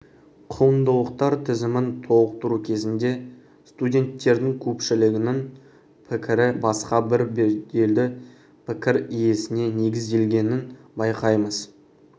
құндылықтар тізімін толықтыру кезінде студенттердің көпшілігінің пікірі басқа бір беделді пікір иесіне негізделгенін байқаймыз